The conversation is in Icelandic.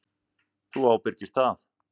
Þú ábyrgist það.